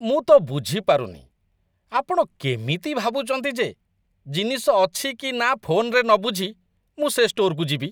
ମୁଁ ତ ବୁଝିପାରୁନି, ଆପଣ କେମିତି ଭାବୁଛନ୍ତି ଯେ ଜିନିଷ ଅଛି କି ନା ଫୋନ୍‌ରେ ନ ବୁଝି ମୁଁ ସେ ଷ୍ଟୋର୍‌କୁ ଯିବି!